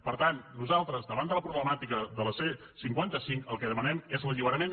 per tant nosaltres davant de la problemàtica de la c cinquanta cinc el que demanem és l’alliberament